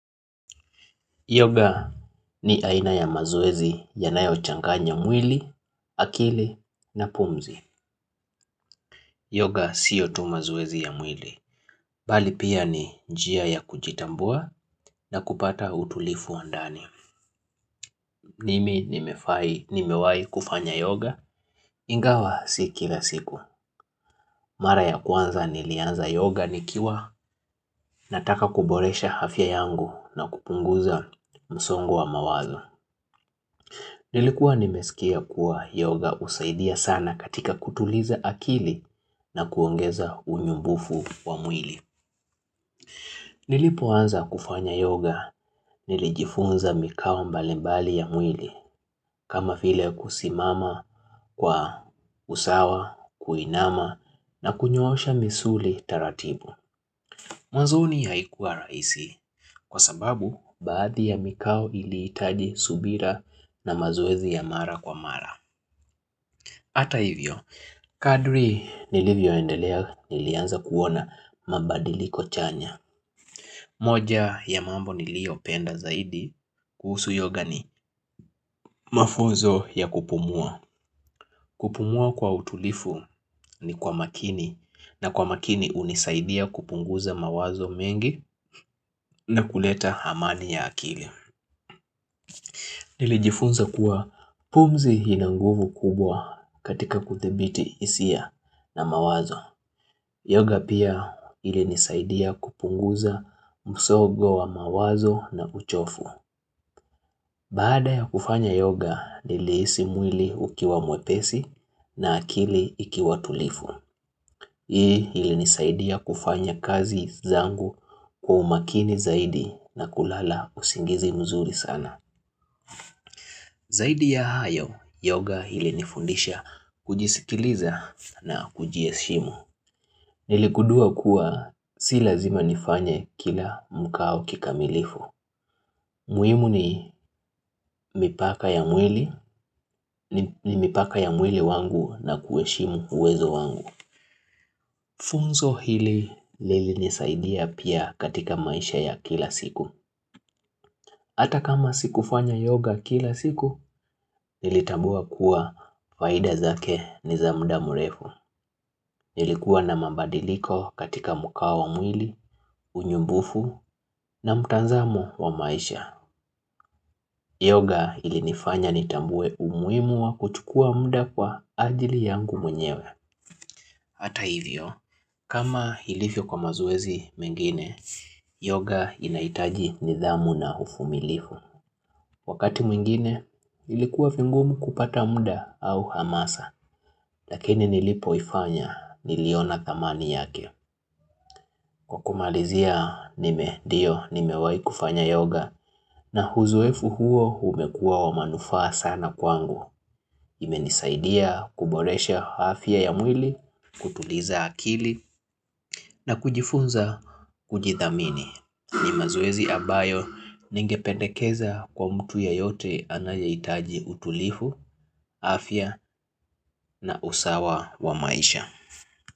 Yoga ni aina ya mazoezi yanayochanganya mwili, akili na pumzi. Yoga siyo tu mazoezi ya mwili. Bali pia ni njia ya kujitambua na kupata utulifu wa ndani. Mimi nimefai nimewai kufanya yoga, ingawa si kila siku. Mara ya kwanza nilianza yoga nikiwa nataka kuboresha hafya yangu na kupunguza msongo wa mawazo. Nilikuwa nimesikia kuwa yoga usaidia sana katika kutuliza akili na kuongeza unyumbufu wa mwili. Nilipoanza kufanya yoga, nilijifunza mikao mbalimbali ya mwili, kama file kusimama, kwa usawa, kuinama na kunyoosha misuli taratibu. Mwanzoni haikua rahisi, kwa sababu, baadhi ya mikau ilihitaji subira na mazoezi ya mara kwa mara. Ata hivyo, kadri nilivyoendelea nilianza kuona mabadiliko chanya. Moja ya mambo niliopenda zaidi kuhusu yoga ni mafunzo ya kupumua. Kupumua kwa utulifu, ni kwa makini, na kwa makini unisaidia kupunguza mawazo mengi na kuleta hamani ya akili. Nilijifunza kuwa, pumzi hina nguvu kubwa katika kuthibiti isia, na mawazo. Yoga pia, ilinisaidia kupunguza msogo wa mawazo na uchofu. Baada ya kufanya yoga, nilihisi mwili ukiwa mwepesi, na akili ikiwa tulifu. Hii ilinisaidia kufanya kazi zangu kwa umakini zaidi na kulala usingizi mzuri sana. Zaidi ya hayo, yoga hilinifundisha kujisikiliza, na kujieshimu. Nilikudua kuwa, si lazima nifanye kila mkao kikamilifu. Muhimu ni mipaka ya mwili, ni ni mipaka ya mwili wangu na kuheshimu uwezo wangu. Funzo hili lilinisaidia pia katika maisha ya kila siku. Ata kama sikufanya yoga kila siku, nilitabua kuwa faida zake ni za mda mrefu. Nilikuwa na mabadiliko katika mukao wa mwili, unyumbufu, na mtazamo wa maisha. Yoga ilinifanya nitambue umuhimu wa kuchukua mda kwa ajili yangu mwenyewe. Ata hivyo, kama hilivyo kwa mazoezi mengine, yoga inahitaji nidhamu na ufumilifu. Wakati mwingine, ilikuwa fingumu kupata mda, au hamasa. Lakini nilipoifanya, niliona thamani yake. Kwa kumalizia, nime dio, nimewai kufanya yoga na huzoefu huo humekuwa wa manufaa sana kwangu. Imenisaidia kuboresha hafya ya mwili, kutuliza akili na kujifunza kujidhamini. Ni mazoezi ambayo ningepedekeza kwa mtu yeyote anayeitaji utulifu, afya na usawa wa maisha.